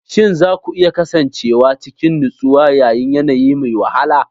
Shin za ku iya kasancewa cikin nutsuwa yayin yanayi mai wahala?